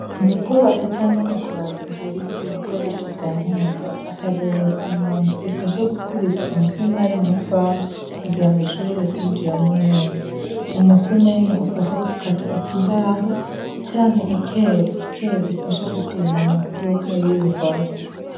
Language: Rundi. Mu kwubaka canke mu kubaza hariho ibikoresho vya nkenegwa akarorera inyundo ifasha gukubita umusuma ari mu mbaho kugira ngo ushobore kwinjiramwo neza umusumeno ufasha gukata iki mbaho canke ekeli ekeli ifasha gupima mu mfuruka y'iruhome.